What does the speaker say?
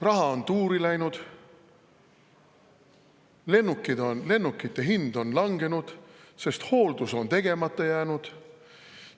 Raha on tuuri läinud, lennukite hind on langenud, sest hooldus on tegemata jäänud.